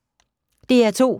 DR2